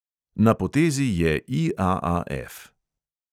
Na potezi je IAAF.